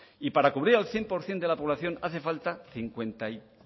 y para cubrir al cien por ciento de la población hace falta cincuenta y